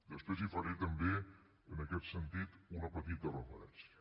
després hi faré també en aquest sentit una petit referència